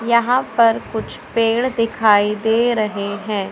यहां पर कुछ पेड़ दिखाई दे रहे है।